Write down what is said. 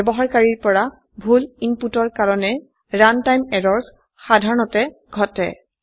ব্যবহাৰকাৰীৰ পৰা ভুল ইনপুটৰ কাৰনে ৰাণ্টাইম এৰৰ্ছ সাধাৰণতে ঘটে